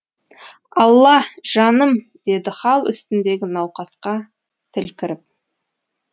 алла жаным деді хал үстіндегі науқасқа тіл кіріп